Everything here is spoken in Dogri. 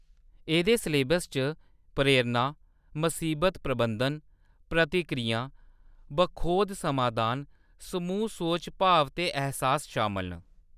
एह्‌‌‌दे सलेबस च प्रेरणा, मसीबत प्रबंधन, प्रतिक्रियां, बखोध समाधान, समूह् सोच, भाव ते ऐह्‌सास शामल न।